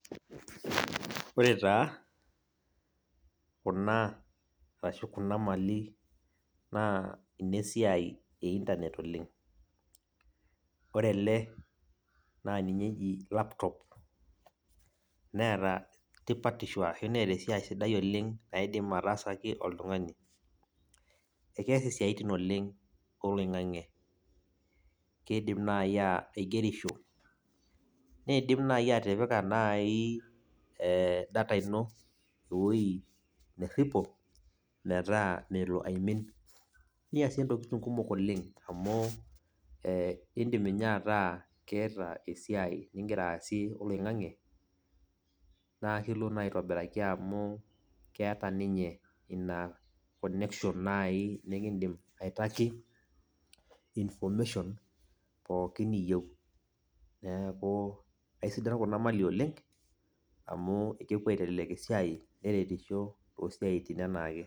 Ore taa, kuna arashu kuna mali, naa inesiai e Internet oleng. Ore ele, naa ninye eji laptop ,neeta tipatisho ashu neeta esiai sidai oleng naidim ataasaki oltung'ani. Ekees isiaitin oleng oloing'ang'e. Kidim nai aigerisho, nidim nai atipika nai data ino ewoi nerripo, metaa melo aimin. Niasie ntokiting kumok oleng, amu idim inye ataa keeta esiai nigira aasie oloing'ang'e, na akilo naa aitobiraki amu, keeta ninye ina connection nai nikidim aitaki, information pookin niyieu. Neeku, aisidan kuna mali oleng, amu kepuo aitelelek esiai neretisho tosiaitin enaake.